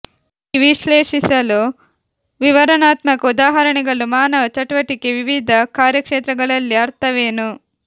ಈ ವಿಶ್ಲೇಷಿಸಲು ವಿವರಣಾತ್ಮಕ ಉದಾಹರಣೆಗಳು ಮಾನವ ಚಟುವಟಿಕೆ ವಿವಿಧ ಕಾರ್ಯಕ್ಷೇತ್ರಗಳಲ್ಲಿ ಅರ್ಥವೇನು